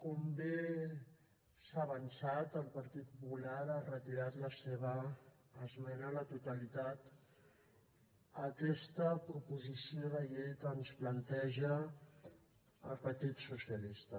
com bé s’ha avançat el partit popular ha retirat la seva esmena a la totalitat a aquesta proposició de llei que ens planteja el partit socialista